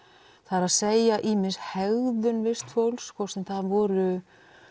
er að segja ýmis hegðun vistfólks hvort sem það voru